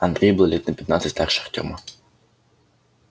андрей был лет на пятнадцать старше артёма